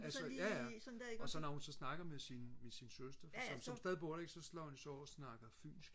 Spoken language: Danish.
altså ja ja og så når hun så snakker med sin med sin søster som så stadig bor der så slår hun så over og snakker fynsk